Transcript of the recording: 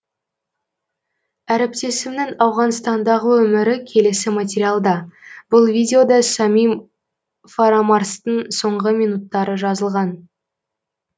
әріптесімнің ауғанстандағы өмірі келесі материалда бұл видеода самим фарамарзтың соңғы минуттары жазылған